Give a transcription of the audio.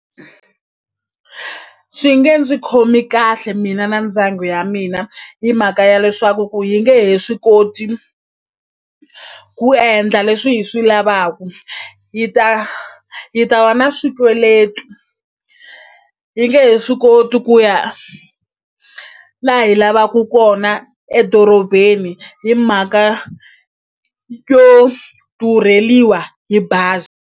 Swi nge ndzi khomi kahle mina na ndyangu ya mina hi mhaka ya leswaku ku yi nge he swi koti ku endla leswi hi swi lavaku yi ta yi ta wa na swikweleti yi nge he swi koti ku ya la hi lavaku kona edorobeni hi mhaka yo durheliwa hi bazi.